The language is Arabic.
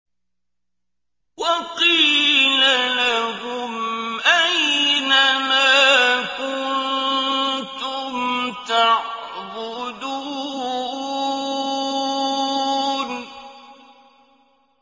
وَقِيلَ لَهُمْ أَيْنَ مَا كُنتُمْ تَعْبُدُونَ